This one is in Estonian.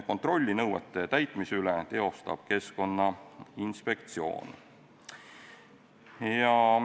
Kontrolli nõuete täitmise üle teostab Keskkonnainspektsioon.